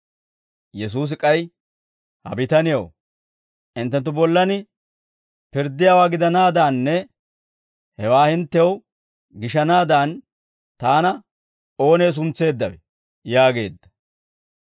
Yesuusi k'ay, «Ha bitanew, hinttenttu bollan pirddiyaawaa gidanaadanne hewaa hinttew gishanaadan taana oonee suntseeddawe?» yaageedda.